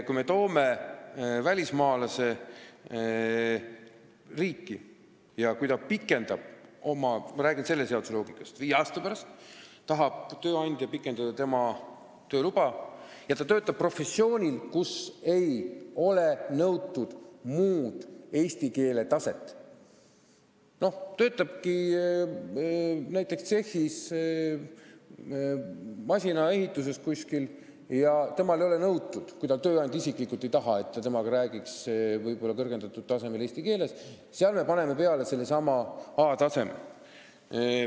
Kui me toome välismaalase riiki ja viie aasta pärast tahab tööandja pikendada tema tööluba, kusjuures ta töötab ametikohal, kus ei nõuta kõrgemat eesti keele oskuse taset, näiteks ta töötab masinatehase tsehhis, ja kui tööandja isiklikult ei taha, et temaga räägitaks kõrgemal tasemel eesti keeles, siis me paneme sinna kirja sellesama A-taseme.